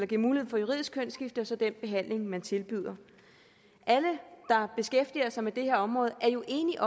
giver mulighed for juridisk kønsskifte og så den behandling man tilbyder alle der beskæftiger sig med det her område er jo enige